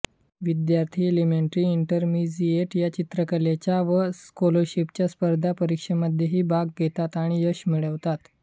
विद्यार्थी elementary intermediate या चित्रकलेच्या व स्काॅलरशिप स्पर्धा परीक्षांमध्येही भाग घेतात आणि यश मिळवतात